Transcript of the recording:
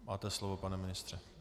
Máte slovo, pane ministře.